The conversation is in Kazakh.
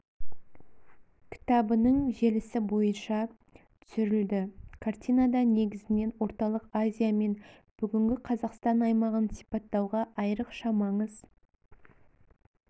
кітабының желісі бойынша түсірілді картинада негізінен орталық азия мен бүгінгі қазақстан аймағын сипаттауға айрықша маңыз